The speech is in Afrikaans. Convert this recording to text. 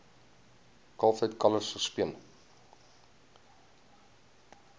kalftyd kalwers gespeen